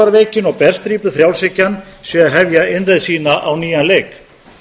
að útrásarveikin og berstrípuð frjálshyggjan séu að hefja innreið sína á nýjan leik